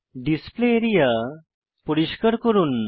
display area পরিষ্কার করুন